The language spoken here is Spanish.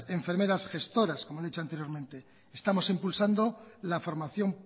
enfermeras gestoras como han hecho anteriormente estamos impulsando la formación